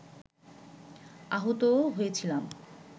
আহতও হয়েছিলাম